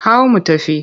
Hau mu tafi!